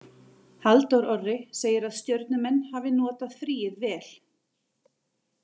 Halldór Orri segir að Stjörnumenn hafi notað fríið vel.